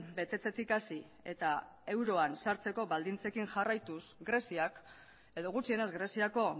betetzetik hasi eta euroan sartzeko baldintzekin jarraituz greziak edo gutxienez greziako